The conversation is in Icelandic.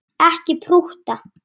Ekki prútta!